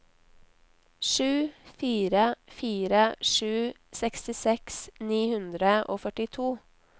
sju fire fire sju sekstiseks ni hundre og førtito